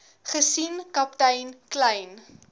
gesien kaptein kleyn